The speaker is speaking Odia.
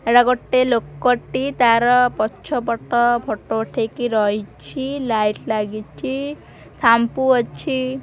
ଏଟା ଗୋଟେ ଲୋକଟି ତାର ପଛପଟ ଫଟୋ ଉଠେଇକି ରହିଛି ଲାଇଟ୍ ଲାଗିଛି ସାମ୍ପୂ ଅଛି।